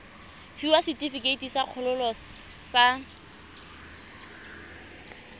fiwa setefikeiti sa kgololo sa